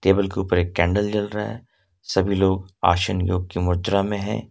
Table के ऊपर एक कैंडल जल रहा है सभी लोग आसन योग की मुद्रा में है।